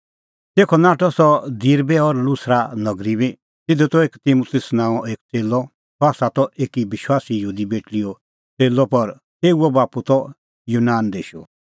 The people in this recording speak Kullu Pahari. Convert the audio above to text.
तेखअ नाठअ सह दिरबे और लुस्रा नगरी बी तिधी त एक तिमुतुस नांओं एक च़ेल्लअ सह त एकी विश्वासी यहूदी बेटल़ीओ च़ेल्लअ पर तेऊओ बाप्पू त यूनान देशो